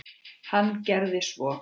Hann gerði svo.